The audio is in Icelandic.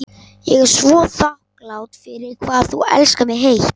Ég er svo þakklát fyrir hvað þú elskar mig heitt.